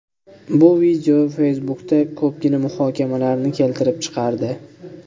Bu video Facebook’da ko‘pgina muhokamalarni keltirib chiqardi.